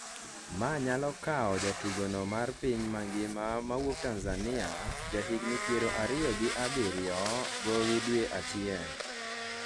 ma nyalo kawo jatugono mar piny mangima mawuok Tanzania ,ja higni piero ariyo gi abiriyo gowi dwe achiel